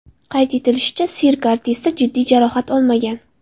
Qayd etilishicha, sirk artisti jiddiy jarohat olmagan.